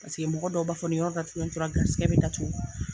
Paseke mɔgɔ dɔw b'a fɔ ni yɔrɔ datugulen tora gɛrisɛgɛ bɛ datugu.